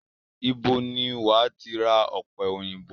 Ibo ni wàá ti ra ọ̀pẹ òyìnbó?